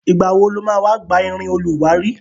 Ìgbà wo lo ma wá gba irin olùwárí?